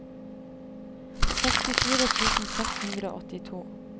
sekstifire tusen seks hundre og åttito